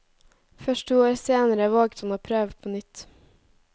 Først to år senere våget han å prøve på nytt.